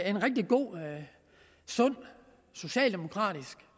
en rigtig god og sund socialdemokratisk